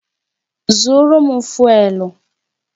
Zụrụ m fụ́élú!